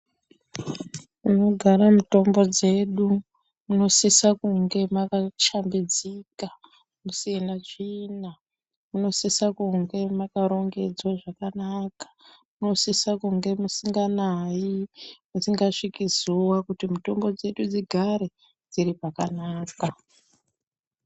Panogara mitombo dzedu munosisa kunga makashambidzika musina tsvina. Munosisa kunge makarongedzwa zvakanaka. Munosisa kunge musinganayi musingasviki zuwa kuti mitombo dzedu dzigare dziri pakanaka.